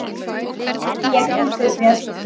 hreyti ég út úr mér.